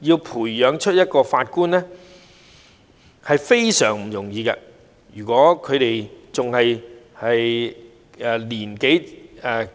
要培養一名法官是非常不容易的，如果他們年齡尚輕便要